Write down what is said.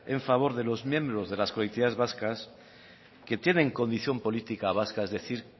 en favor de los miembros de las colectividades vascas que tienen condición política vasca es decir